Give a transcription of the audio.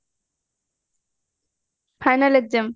final exam